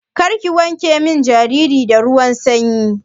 Karku wanke min jariri da ruwan sanyi.